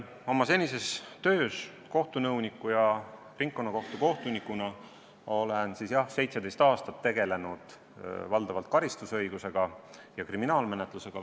Oma senises töös kohtunõuniku ja ringkonnakohtu kohtunikuna olen, jah, 17 aastat tegelenud valdavalt karistusõiguse ja kriminaalmenetlusega.